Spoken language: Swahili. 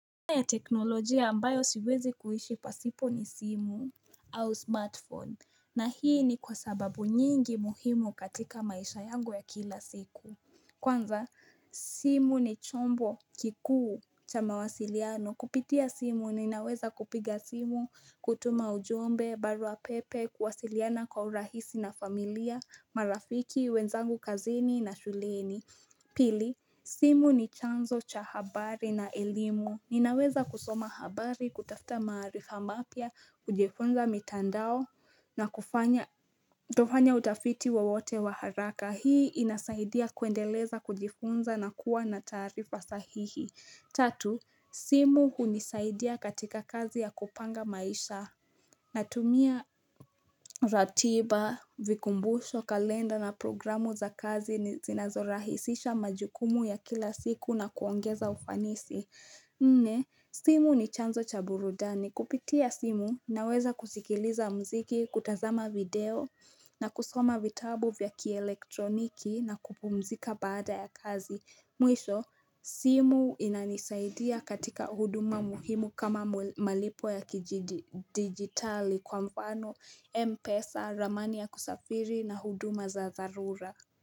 Kwa ya teknolojia ambayo siwezi kuishi pasipo ni simu au smartphone na hii ni kwa sababu nyingi muhimu katika maisha yangu ya kila siku Kwanza simu ni chombo kikuu cha mawasiliano kupitia simu ninaweza kupiga simu kutuma ujumbe barua pepe kuwasiliana kwa urahisi na familia marafiki wenzangu kazini na shuleni Pili, simu ni chanzo cha habari na elimu. Ninaweza kusoma habari, kutafuta maarifa mapya, kujifunza mitandao na kufanya utafiti wowote wa haraka. Hii inasaidia kuendeleza kujifunza na kuwa na taarifa sahihi. Tatu, simu hunisaidia katika kazi ya kupanga maisha natumia ratiba, vikumbusho, kalenda na programu za kazi ni zinazorahisisha majukumu ya kila siku na kuongeza ufanisi. Nne, simu ni chanzo cha burudani. Kupitia simu, naweza kusikiliza muziki, kutazama video na kusoma vitabu vya kielektroniki na kupumzika baada ya kazi. Mwisho, simu inanisaidia katika huduma muhimu kama malipo ya kidigitali kwa mfano Mpesa, ramani ya kusafiri na huduma za dharura.